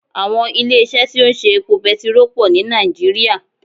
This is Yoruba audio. Àwọn ilé isé tí ó ń ṣe epo petiró pò ní Nàìjíríà